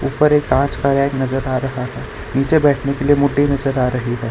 उपर एक काँच का रैक नजर आ रहा है नीचे बैठने के लिए मुड्डी नजर आ रही है।